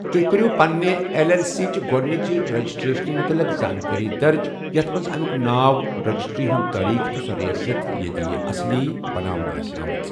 تُہہِ کٔرِیو پنٛنہِ ایٚل ایٚل سی چہِ گۄڈنِچہِ ریٚجِسٹرٛیشَنہِ مُتعلِق زانٛکٲری درٕج، یَتھ منٛز ،اَمیُوک ناو، ریٚجِسٹرٛی ہٗند تٲریٖخ، تہٕ سۄ رِیاست ییٚتہِ یہِ اصلی بناونہٕ اسہِ آمٕژ۔